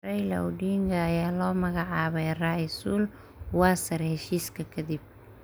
Raila Odinga ayaa loo magacaabay ra�iisul wasaare heshiiska kadib.